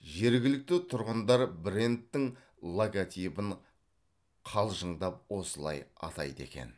жергілікті тұрғындар брендтің логотипін қалжыңдап осылай атайды екен